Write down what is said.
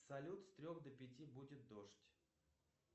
салют с трех до пяти будет дождь